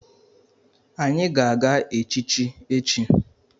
Anyị ga-aga echichi echi.